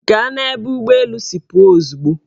Gaa n'ebe ụgbọelu si apụ ozugbo!